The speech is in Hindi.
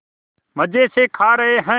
मज़े से खा रहे हैं